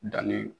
Danni